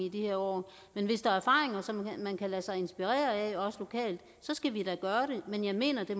i de her år som man kan lade sig inspirere af også lokalt så skal vi da gøre det men jeg mener det